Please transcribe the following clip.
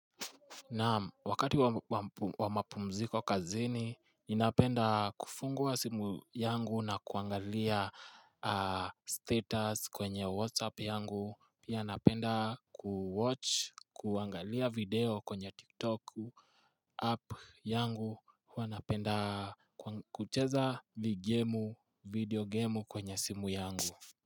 Nam wakati wa mapumziko kazini, ninapenda kufungua simu yangu na kuangalia status kwenye Whatsapp yangu. Pia napenda kuwatch, kuangalia video kwenye TikTok app yangu. Huwa napenda kucheza video game kwenye simu yangu.